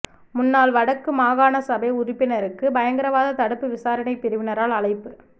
முன்னாள் வடக்கு மாகாணசபை உறுப்பினருக்கு பயங்கரவாத தடுப்பு விசாரணை பிரிவினரால் அழைப்பு